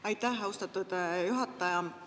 Aitäh, austatud juhataja!